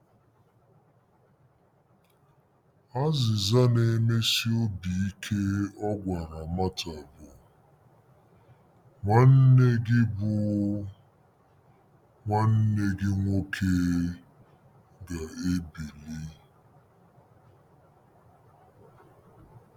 Azịza na-emesi obi ike ọ gwara Mata bụ: “Nwanne gị bụ: “Nwanne gị nwoke ga-ebili.”